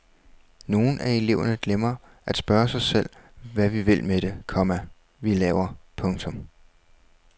Nogle af eleverne glemmer at spørge sig selv hvad vi vil med det, komma vi laver. punktum